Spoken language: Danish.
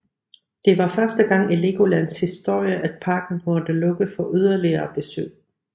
Det var første gang i Legolands historie at parken måtte lukke for yderligere besøg